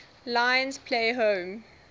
lions play home